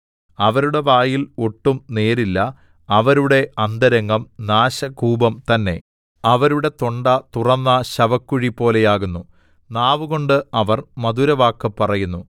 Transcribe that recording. അവരുടെ വായിൽ ഒട്ടും നേരില്ല അവരുടെ അന്തരംഗം നാശകൂപം തന്നെ അവരുടെ തൊണ്ട തുറന്ന ശവക്കുഴി പോലെയാകുന്നു നാവുകൊണ്ട് അവർ മധുരവാക്കു പറയുന്നു